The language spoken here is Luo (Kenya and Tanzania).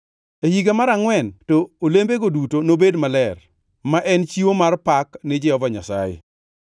E higa mar angʼwen to olembege duto nobed maler, ma en chiwo mar pak ni Jehova Nyasaye.